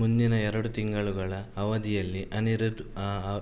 ಮುಂದಿನ ಎರಡು ತಿಂಗಳುಗಳ ಅವಧಿಯಲ್ಲಿ ಅನಿರುದ್ಧ್ ಆ